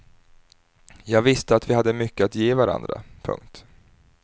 Jag visste att vi hade mycket att ge varandra. punkt